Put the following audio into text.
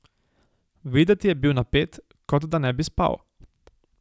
Videti je bil napet, kot da ne bi spal.